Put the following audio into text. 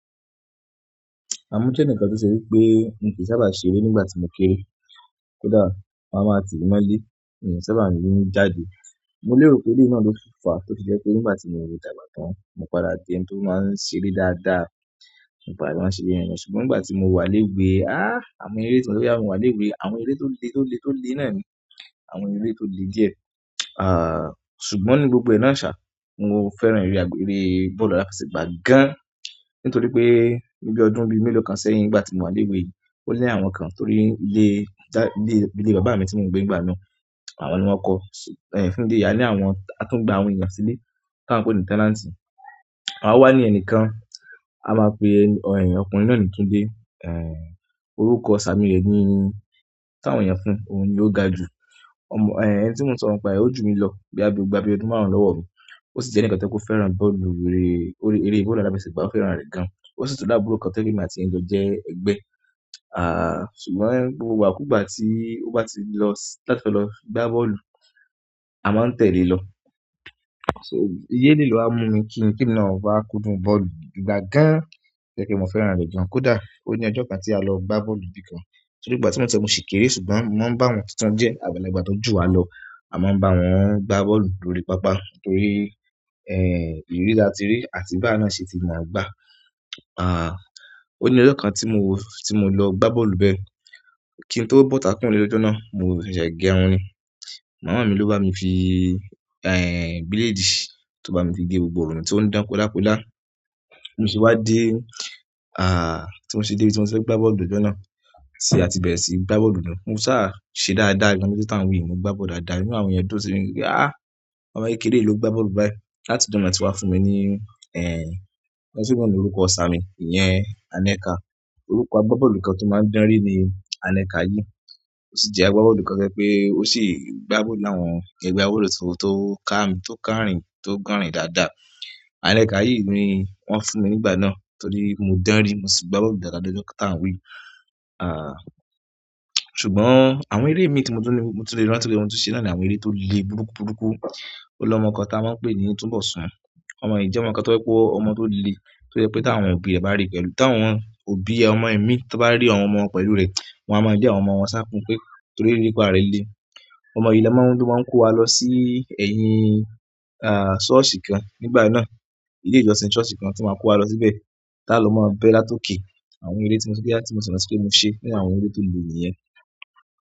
Àmúṣẹ nìkan tí ó ṣe wí pé mi n kí sábà ṣeré nígbà tí mo kére kódà wọn màá ti mi mọ le mi n ki sábà jáde. Mo lérò pé eleyi náà ló fà, tó fi jẹ́ pé nígbà tí mò dàgbà tán, mo padà di ẹni tó máa ń ṣeré dáadáa, mo padà máa ń ṣeré yẹn nisinyi. Ṣùgbọ́n nígbà tí mo wà léwe, ah! Àwọn eré tí mò ń rí nígbà tí mo wà léwe, àwọn eré tó le tó le tó le náà ni, àwọn eré tó le díẹ̀. Ṣùgbọ́n nínú gbogbo ná ṣà, mo fẹ́ràn eré bọ́ọ̀lù aláfẹsẹ̀gbá gan-an. Nítorí pé níbi ọdún bí mélòó kan sẹ́yìn, nígbà tí mo wà léwe, ó ní àwọn kan torí ilé bàbá mi tí mò ń gbé nígbà náà, àwọn ni wọ́n kọọ, fún ìdí eyá ní àwọn, a tún gba àwọn èèyàn sílé, tí a ń pè ní tenant. O wa ní ẹnìkan, a máa n pe ọkùnrin náà ní Túndé. Orúkọ samí rẹ ní, tí àwọn èèyàn fún ni Ogaju ẹni tí mò ń sọ̀rọ̀ nípa ẹ, ó jù mí lọ boya bi o gba bíi ọdún márùn-ún lọ́wọ́ mi. Ó sì jẹ́ ẹnìkan tí ó fẹ́ràn bọ́ọ̀lù eré, eré bọ́ọ̀lù aláfẹsẹ̀gbá, ó fẹ́ràn rẹ̀ gan-an. Ó sì tun ni àbúrò kan to jẹ pe èmi àti ẹ jọ jẹ ẹgbẹ́. Ṣùgbọ́n gbogbo igbakùgbà tí ó bá ti lọ láti lọ gbá bọ́ọ̀lù, a máa ń tẹ̀le lọ. So, idi eleyi lo wa mú mi kí emi na wá kúndùn bọ́ọ̀lù gbigba gan-an, to jẹ́ pe mo fẹ́ràn rẹ̀ gan. Kódà ó ní ọjọ́ kan tí a lọ gbá bọ́ọ̀lù nibi kan. Torí nígbà tí mò ń sọ yi mo ṣi kéré, ṣùgbọ́n mo ma ń bá wọn tuntun díẹ̀, àgbàlagbà tó ju wa lọ. A máa ń bá wọn gbá bọ́ọ̀lù lórí pápá nítorí, ìrírí taáti rí àti bi awa náà ṣe tí mọ gbà. Ó ní ọjọ́ kan tí mo lọ gbá bọ́ọ̀lù bẹ́ẹ̀. Kí n tó bọ́ sità kúrò n'ile lọ́jọ́ náà, mo ṣẹ̀ṣẹ̀ gẹ́ irun ni. Màmá mi ló bá mi fi, bílédì tó bá mi fi gé gbogbo irun mi tí ó ń dán kola kola bi mo se wá dé, tí mo ṣe dé ibi tí mo ti fẹ́ gbá bọ́ọ̀lù lọ́jọ́ náà, ti a ti bẹ̀rẹ̀ sí gbá bọ́ọ̀lù náà. Mo sáà ṣe dáadáa gan-an, ni ọjọ́ tá ń wí mó gbá bọ́ọ̀lù dáadáa ínú àwọn èèyàn dùn sì mi wí pé, "Ah! Ọmọ kékeré yi ló gbá bọ́ọ̀lù báyìí." Láti ìgbà náà ni wọn tí wá fún mi ní orúkọ isàmi, ìyẹn Anẹ́ka. Orúkọ agbábọ́ọ̀lù kan tó máa ń danri ní Anẹ́ka yìí. Ó sì jẹ́ agbábọ́ọ̀lù kan ti o jẹ pé ó sì gbá bọ́ọ̀lù láwọn, kí ẹ gba bọ́ọ̀lù tó, tó ká mi, tó kárìn, tó kànrìn dáadáa. Anẹ́ka yìí ni wọ́n fún mi nígbà náà torí mo dánrí, mo sì gba bọ́ọ̀lù dáadáa lọ́jọ́ tá ń wí yìí ṣùgbọ́n àwọn eré mi tí mò tun ni, mo tún lè rántí pe mo tí ṣe nàá ní àwọn eré tó le burúkú burúkú. Ó lọ́mọ kan tá maa n pè ní Tunbosun. Ọmọ yìí jẹ́ ọmọ kan tó rẹ pé ọmọ tó le, tó jẹ́ pé tí àwọn òbí ẹ bá rí pẹ̀lú, tí àwọn òbí ọmọ imí tan bá rí àwọn ọmọ pẹ̀lú rẹ̀, wọ́n á mọ̀ lé àwọn ọmọ wọn safun pé torí erepa rẹ le. Ọmọ yìí ló máa ń mú, ló máa ń kó wa lọ sí ẹ̀yìn, ṣọ́ọ̀ṣì kan nígbà náà. Ilé ìjọsìn ṣọ́ọ̀ṣì kan tí o màá kó wa lọ síbẹ̀, tá ló máa bẹ láti òkè àwọn eré tí mò ṣì rántí pe mò se nínú àwọn ere to le nìyẹn.